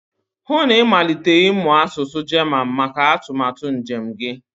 hụ na ịmalite ịmụ asụsụ German maka atụmatụ njem gị